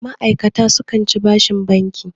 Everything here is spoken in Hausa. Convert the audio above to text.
ma'aikata sukan ci bashin banki